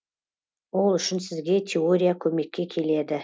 ол үшін сізге теория көмекке келеді